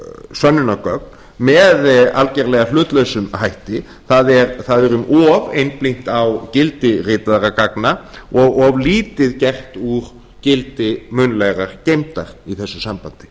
sönnunargögn með algerlega hlutlausum hætti það er um of einblínt á gildi ritaðra gagna og of lítið gert úr gildi munnlegra gilda í þessu sambandi